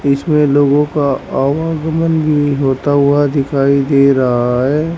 इसमें लोगों का आवागमन भी होता हुआ दिखाई दे रहा है।